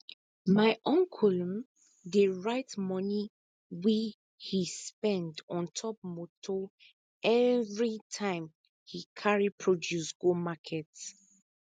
my uncle um dey write moni we he spend on top moto everitime he carry produce go market